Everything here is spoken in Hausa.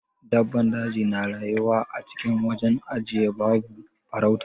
Dabban daji na rayuwa acikin wajen ajiye babu farauta.